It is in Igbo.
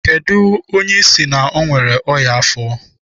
Kedụ onye ị sị na o nwere ọnyá afọ?